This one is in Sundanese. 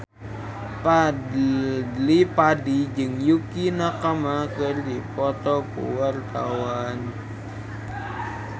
Fadly Padi jeung Yukie Nakama keur dipoto ku wartawan